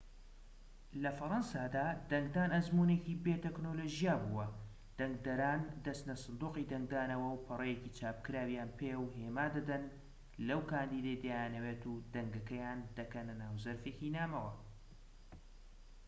لە فەڕەنسادا دەنگدان ئەزموونێکی بێ تەکنۆلۆژیا بووە دەنگدەران دەچنە سندوقی دەنگدانەوە و پەڕەیەکی چاپکراویان پێە و هێما دەدەن لەو کاندیدەی دەیانەوێت و دەنگەکەیان دەکەنە ناو زەرفێکی نامەوە